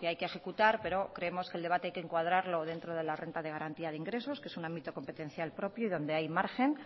que hay que ejecutar pero creemos que el debate hay que encuadrarlo dentro de la renta de garantía de ingresos que es un ámbito competencial propio y donde hay margen